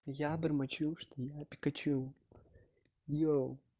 я бормочу что я пикачу ё